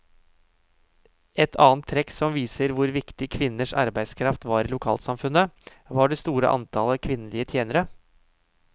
Et annet trekk som viser hvor viktig kvinnenes arbeidskraft var i lokalsamfunnet, var det store antallet kvinnelige tjenere.